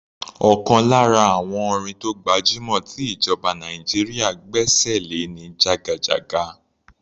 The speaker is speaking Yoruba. Ọ̀kan lára àwọn orin tó gbajúmọ̀ tí ìjọba Nàìjíríà gbẹ́ṣẹ̀ lé ni "jagajaga".